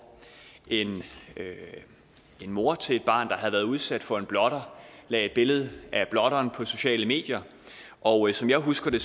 en mor til et barn der havde været udsat for en blotter lagde et billede af blotteren på de sociale medier og som jeg husker det